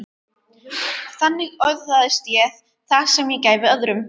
Þannig öðlaðist ég það sem ég gæfi öðrum.